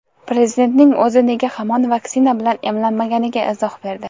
Prezidentning o‘zi nega hamon vaksina bilan emlanmaganiga izoh berdi.